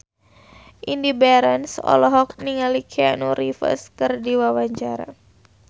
Indy Barens olohok ningali Keanu Reeves keur diwawancara